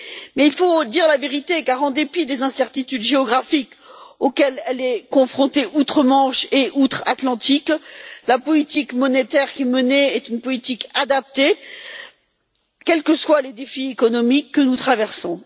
Mais il faut dire la vérité, car en dépit des incertitudes géographiques auxquelles elle est confrontée outre Manche et outre Atlantique, la politique monétaire qui est menée est une politique adaptée, quels que soient les défis économiques que nous traversons.